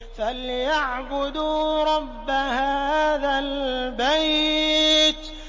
فَلْيَعْبُدُوا رَبَّ هَٰذَا الْبَيْتِ